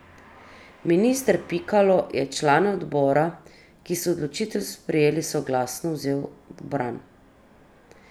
Minister Pikalo je člane odbora, ki so odločitev sprejeli soglasno, vzel v bran.